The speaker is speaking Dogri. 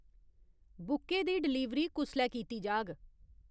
बुके दी डलीवर कुसलै कीती जाग ?